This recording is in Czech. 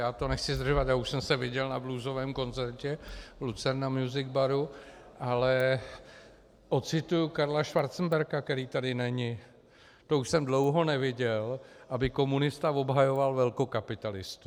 Já to nechci zdržovat, já už jsem se viděl na bluesovém koncertu v Lucerna music baru, ale ocituji Karla Schwarzenberga, který tady není: "To už jsem dlouho neviděl, aby komunista obhajoval velkokapitalistu."